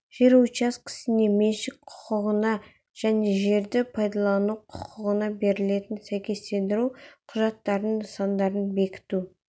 жер учаскесіне меншік құқығына және жерді пайдалану құқығына берілетін сәйкестендіру құжаттарының нысандарын бекіту